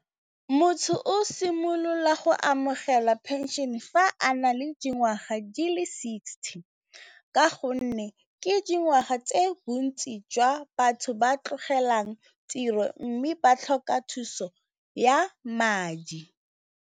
Motho o simolola go amogela phenšene fa a na le dingwaga di le sixty. Ka gonne ke dingwaga tse bontsi jwa batho ba tlogelang tiro, mme ba tlhoka thuso ya madi.